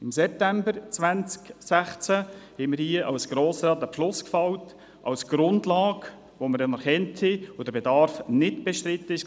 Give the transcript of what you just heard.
Im September 2016 fassten wir hier als Grosser Rat einen Beschluss, den wir als Grundlage anerkannten und bei dem der Bedarf im Rat nicht bestritten war.